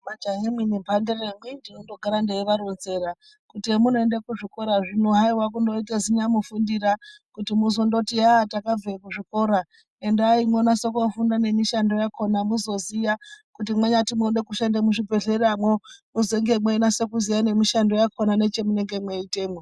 Majahamwi nemhandara amweni ndinotogara ndeivaronzera kuti hemunoenda kuzvikora zvino haiwa kundoita zinyamufundira kuti muzondoti eya takabve kuzvikora endai monyase kufunda nemishando yakona muzoziya kuti munyati munode kushande muzvibhedhleramwo muzenge meinyase kuziya ngemishando yakona nechemunenge meiitemwo.